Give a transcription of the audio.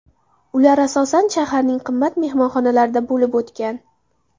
Ular asosan shaharning qimmat mehmonxonalarida bo‘lib o‘tgan.